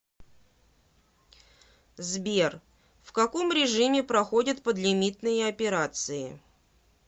сбер в каком режиме проходят подлимитные операции